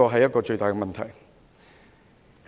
這是最大的問題。